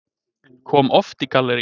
Kom oft í galleríið.